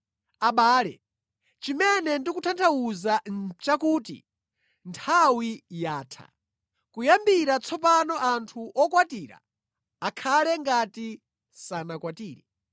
Abale, chimene ndikutanthauza nʼchakuti nthawi yatha. Kuyambira tsopano anthu okwatira akhale ngati sanakwatire.